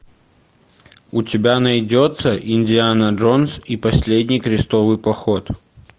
у тебя найдется индиана джонс и последний крестовый поход